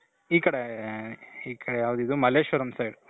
ಈ ಕಡೆ ಈ ಕಡೆ ಯಾವ್ಡಿದು ಮಲ್ಲೇಶ್ವರಂ side.